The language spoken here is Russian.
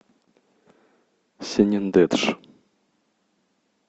сенендедж